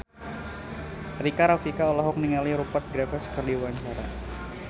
Rika Rafika olohok ningali Rupert Graves keur diwawancara